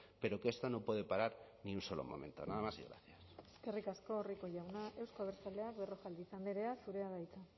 pero que esto no puede parar ni un solo momento nada más y gracias eskerrik asko rico jauna euzko abertzaleak berrojalbiz andrea zurea da hitza